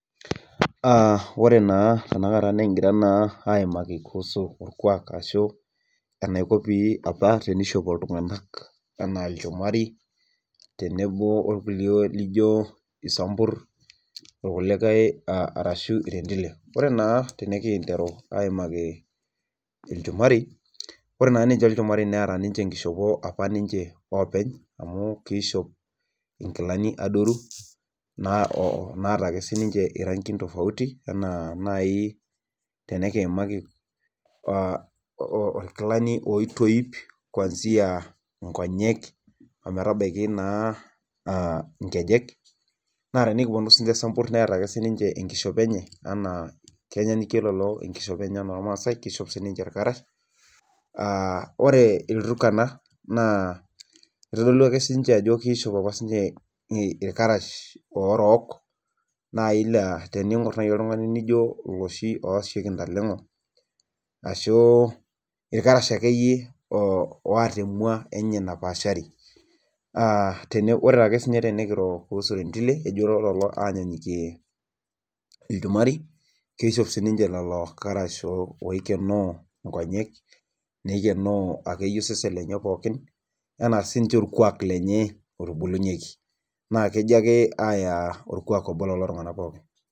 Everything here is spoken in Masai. Aa ore naa tenakata nikigira naa aaimaki kuusu olkuak ashu enaiko apa pee ishopo iltunganak anaa ilchumati, tenebo irkulie liijo sambur, orkuliae laijo irendile. ore naa tenikinteru aaimaki ilchumari. ore naa ilchumari neeta ninche, enkishopo apa ninche oopeny, amu keishop nkilani adoruk, naata sii ninche irankin tofauti anaa nai tenikiimaki olkilani oitoip kuansia nkonyek, ometabaiki naa inkejek, naa tenikupuonu sii ninche sambur neeta ake sii ninche enkishopo enye. anaa, kenyanyukie enkishopo. enye enoolmaasae. kenyaanyukie, kishop sii ninche illkarash, aa ore ilturkana. kitodolu ajo kishop apa, sii ninche illkarash otorok naa teningor oltungani Ijo iloosieki ntalengo. ashu ilrash akeyie oota emua napaashari.aa ore tenikiro kuusu rendile enyaanyukie ilchumari. kisjop irkarash oikenoo nkonyek o nkejek. anaa sii ninche orkuaak lenye otobulinyeki. naa kejo aaya orkuak obo lelo tunganak pookin.